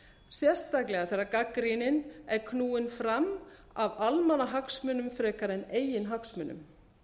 sérstaklega þegar gagnrýnin er knúin fram af almannahagsmunum frekar en eigin hagsmunum